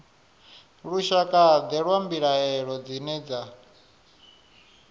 lushakade lwa mbilaelo dzine dza